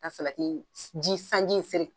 Ka salati ji sanji seri